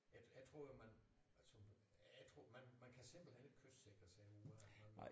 Jeg jeg tror jo man altså jeg tror man man kan simpelthen ikke kystsikre ud af det man må